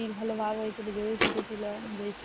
জুঁইয়ের ভালো ভাব হৈছিল দুজনের ছুটি ছিল